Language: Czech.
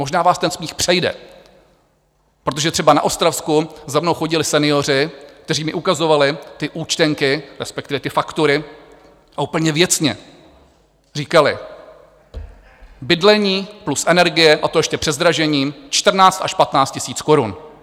Možná vás ten smích přejde, protože třeba na Ostravsku za mnou chodili senioři, kteří mi ukazovali ty účtenky, respektive ty faktury, a úplně věcně říkali: Bydlení plus energie, a to ještě před zdražením 14 až 15 tisíc korun.